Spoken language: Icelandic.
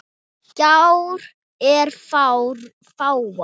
Gjár eru fáar.